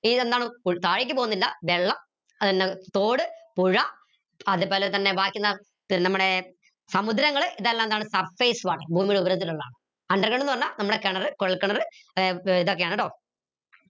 വെള്ളം തോട് പുഴ അതുപോലെതന്നെ ബാക്കി എന്താ പിന്നെ നമ്മുടെ സമുദ്രങ്ങൾ ഇതെല്ലാമെന്താണ് surface water ഭൂമിയുടെ ഉപരത്തിലുള്ളാണ് underground ന്ന് പറഞ്ഞ നമ്മടെ കിണർ കുഴൽ കിണർ ഏർ ഇതൊക്കെയാണ് ട്ടോ